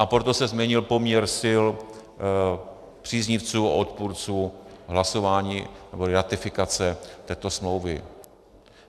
A proto se změnil poměr sil příznivců a odpůrců hlasování, nebo ratifikace této smlouvy.